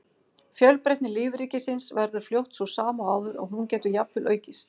Fjölbreytni lífríkisins verður fljótt sú sama og áður og hún getur jafnvel aukist.